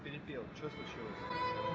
че случилось